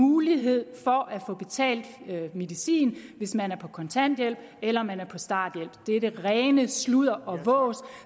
mulighed for at få betalt medicin hvis man er på kontanthjælp eller man er på starthjælp det er det rene sludder og vås